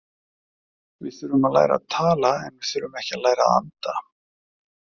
Við þurfum að læra að tala en við þurfum ekki að læra að anda.